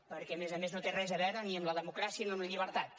perquè a més a més no té res a veure ni amb la democràcia ni amb la llibertat